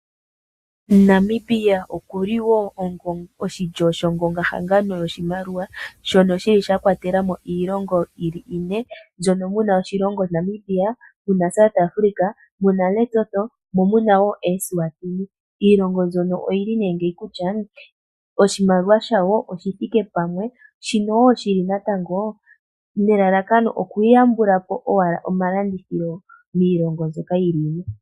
Namibia okuli wo oshilyo shongonga hangano yoshimaliwa shono shili sha kwatelamo iilongo yili ine mbyono muna oshilongo Namibia, South Africa, Lesotho mo munawo Eswatini. Iilongo mbyono oyi li ne ngeyi kutya oshimaliwa shawo oshi thike pamwe shino wo shili natango nelalakano okuya yambulapo owala omalandithilo miilongo mbyoka yili ine.